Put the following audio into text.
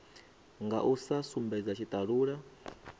nga u sa sumbedza tshitalula